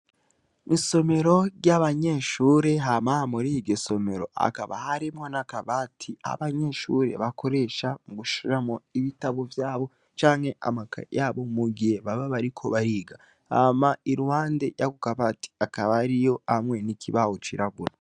Isomero ry'abanyeshure hama muriryo somero hakaba harimwo n' akabati abanyeshure bakoresha mugushiramwo ibitabo vyabo canke amakaye yabo mugihe baba bariko bariga hama iruhande yako kabati hakaba hariyo hamwe n' ikibaho cirabura.